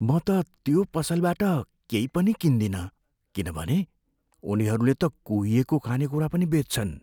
म त त्यो पसलबाट केही पनि किन्दिनँ, किनभने उनीहरूले त कुहिएको खानेकुरा पनि बेच्छन्।